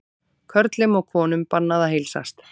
Körlum og konum bannað að heilsast